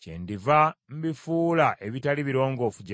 kyendiva mbifuula ebitali birongoofu gye bali.